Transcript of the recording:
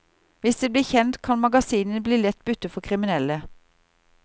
Hvis det blir kjent kan magasinet bli lett bytte for kriminelle.